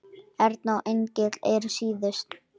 Erna og Engill eru síðust.